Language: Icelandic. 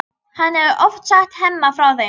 Hann hefur oft sagt Hemma frá þeim.